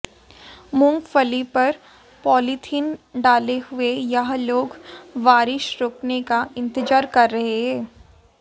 मूंगफली पर पॉलीथिन डाले हुए यह लोग बारिश रुकने का इंतजार कर रहे हैं